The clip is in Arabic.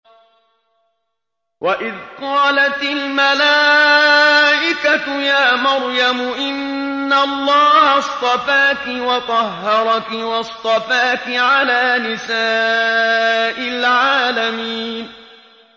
وَإِذْ قَالَتِ الْمَلَائِكَةُ يَا مَرْيَمُ إِنَّ اللَّهَ اصْطَفَاكِ وَطَهَّرَكِ وَاصْطَفَاكِ عَلَىٰ نِسَاءِ الْعَالَمِينَ